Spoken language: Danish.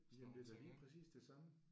Jamen det er da lige præcis det samme